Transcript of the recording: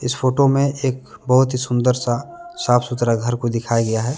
इस फोटो में एक बहुत ही सुंदर सा साफ- सुथरा घर को दिखाया गया है।